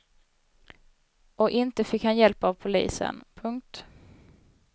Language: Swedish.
Och inte fick han hjälp av polisen. punkt